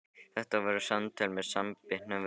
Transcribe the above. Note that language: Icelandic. Þetta voru samtöl með samanbitnum vörum.